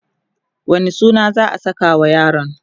wani suna za'a sakawa yaron?